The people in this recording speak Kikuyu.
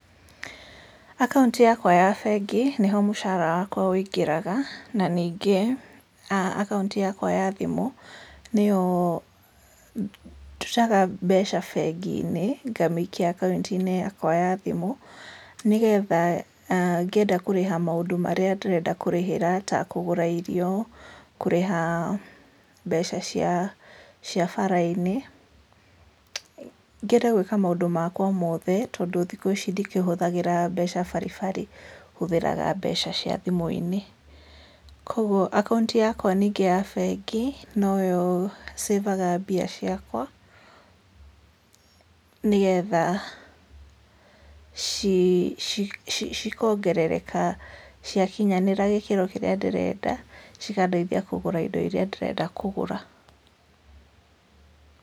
Akaũnti yakwa ya bengi nĩho mũcara wakwa wũingagĩra na ningĩ akaũnti yakwa ya thimũ, nĩyo ndutaga mbeca gĩakwa bengi-inĩ ngaikia akaũnti yakwa ya thimũ nĩgetha ngĩenda kũrĩha maũndũ ndĩrenda kũrĩhĩra ta kũgũra irio, kũrĩha mbeca cia barainĩ, ngĩenda gwĩka maũndũ makwa mothe tondũ thikũ ici ndikĩhũthagĩra mbeca baribari hũthĩraga mbeca cia thimũ-inĩ, kwoguo akaũnti yakwa ningĩ ya bengi noyo ningĩ savaga mbia ciakwa, nĩgetha cikongerereka ciakinya gĩkĩro kĩrĩa ndĩrenda cikandeithia indo iria ndĩrenda kũgũra.